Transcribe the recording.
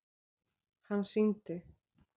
Hann sýndi